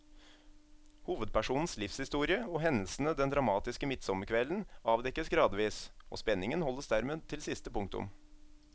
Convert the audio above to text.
Hovedpersonens livshistorie og hendelsene den dramatiske midtsommerkvelden avdekkes gradvis, og spenningen holdes dermed til siste punktum.